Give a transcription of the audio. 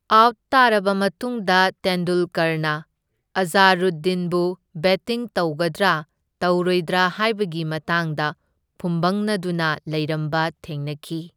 Out ꯇꯥꯔꯕ ꯃꯇꯨꯡꯗ ꯇꯦꯟꯗꯨꯜꯀꯔꯅ ꯑꯖꯥꯔꯨꯗꯗꯤꯟꯕꯨ ꯕꯦꯠꯇꯤꯡ ꯇꯧꯒꯗ꯭ꯔꯥ ꯇꯧꯔꯣꯏꯗ꯭ꯔꯥ ꯍꯥꯢꯕꯒꯤ ꯃꯇꯥꯡꯗ ꯐꯨꯝꯕꯪꯅꯗꯨꯅ ꯂꯩꯔꯝꯕ ꯊꯦꯡꯅꯈꯤ꯫